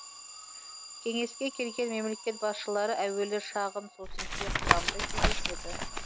кеңеске келген мемлекет басшылары әуелі шағын сосын кең құрамда кездеседі